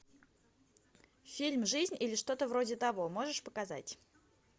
фильм жизнь или что то вроде того можешь показать